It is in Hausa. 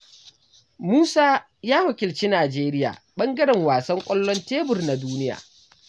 Musa ya wakilci Nijeriya ɓangaren wasan ƙwallon tebur na duniya.